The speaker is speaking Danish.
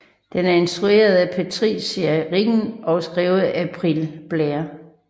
Den er instrueret af Patricia Riggen og skrevet af April Blair